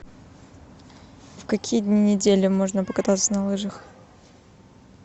в какие дни недели можно покататься на лыжах